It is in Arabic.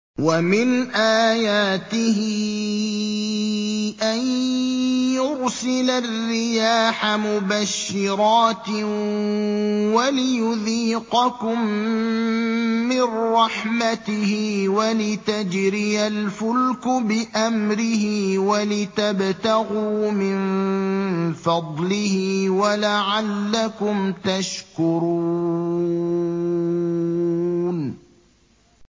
وَمِنْ آيَاتِهِ أَن يُرْسِلَ الرِّيَاحَ مُبَشِّرَاتٍ وَلِيُذِيقَكُم مِّن رَّحْمَتِهِ وَلِتَجْرِيَ الْفُلْكُ بِأَمْرِهِ وَلِتَبْتَغُوا مِن فَضْلِهِ وَلَعَلَّكُمْ تَشْكُرُونَ